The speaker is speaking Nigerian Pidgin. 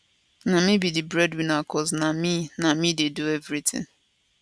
na me be di breadwinner cos na me na me dey do everytin